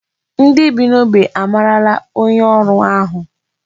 Ndị bi n'ógbè a mara onye ọrụ ahụ.